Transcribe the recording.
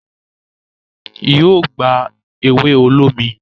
yíò gbá ewe olómi